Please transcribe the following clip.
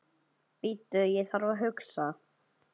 Bíddu ég þarf að hugsa.